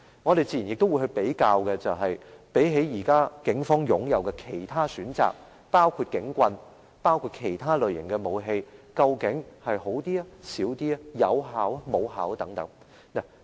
我們自然也會比較，相比警方現時擁有的其他選擇，包括警棍和其他類型的武器，水炮車是否更有效，效用較大或較小。